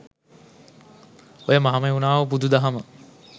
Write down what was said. ඔය මහමෙව්නාව බුදු දහම